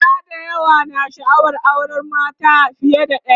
maza da yawa na sha'awar auran mace fiye da ɗaya